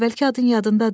Əvvəlki adın yadındadır?